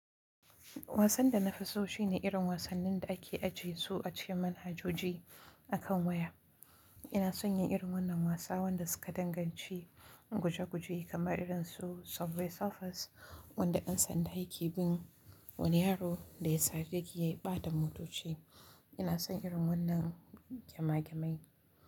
Wasan da na fi so shine irin wasannin da ake ajiye su a cikin manhajoji a kan waya. Ina son yin irin wannan wasa wanda suka danganci guje guje kamar irin su Subway Surfers wanda ɗan sandan aiki bin wani yaro da ya sare giga ya ɓata motoci. Ina son irin wannan gama gamai.